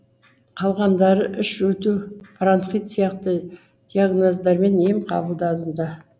қалғандары іш өту бронхит сияқты диагноздармен ем қабылдадымда